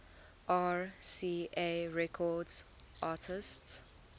rca records artists